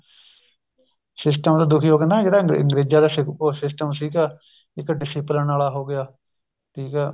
system ਤੋਂ ਦੁੱਖੀ ਹੋ ਕੇ ਨਾ ਜਿਹੜਾ ਅੰਗਰੇਜਾ ਦਾ system ਸੀਗਾ ਇੱਕ discipline ਵਾਲਾ ਹੋ ਗਿਆ ਠੀਕ ਏ